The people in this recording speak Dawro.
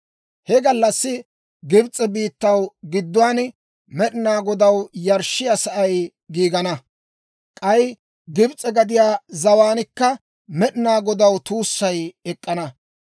He gallassi Gibs'e biittaw gidduwaan, Med'inaa Godaw yarshshiyaasay giigana; k'ay Gibs'e gadiyaa zawaankka Med'inaa Godaw tuussay ek'k'ana.